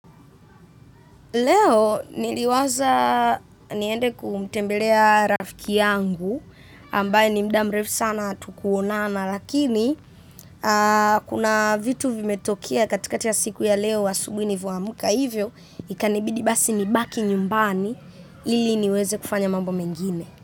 Leo niliwaza niende kumtembelea rafiki yangu ambaye ni muda mrefu sana hatukuonana lakini kuna vitu vimetokea katikati ya siku ya leo asubuhi nilipoamka hivyo ikanibidi basi nibaki nyumbani. Ili niweze kufanya mambo mengine.